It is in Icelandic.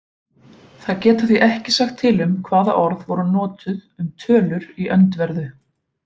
Þær geta því ekki sagt til um hvaða orð voru notuð um tölur í öndverðu.